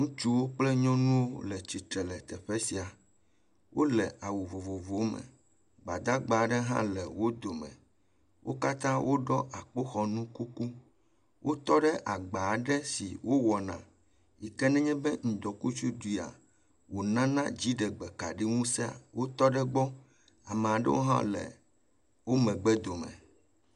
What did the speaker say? Ŋutsuwo kple nyɔnuwo l eatsitre le teƒe sia, wole awu vovovowo me, gbadagbawo hã le wo dome, wo katã woɖɔ akpoxɔnu kuku, wotɔ ɖe agbaaɖe si wowɔna yi k ne ŋdɔkutsu ɖui wonane dziɖegbe kaɖiŋuse wotɔ ɖe egbɔ ame aɖewo hã le wo megb dome.